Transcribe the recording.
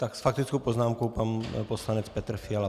Tak s faktickou poznámkou pan poslanec Petr Fiala.